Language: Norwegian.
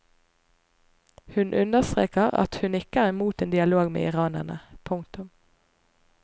Hun understreker at hun ikke er imot en dialog med iranerne. punktum